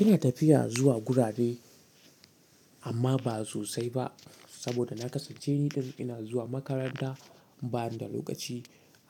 Ina tafiya zuwa gurare amma ba sosai ba saboda na kasance ni da ina zuwa makaranta ban da lokaci